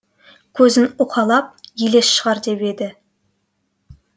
көзін уқалап елес шығар деп еді